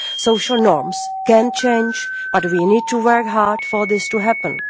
Social norms can change, but we need to work hard for this to happen.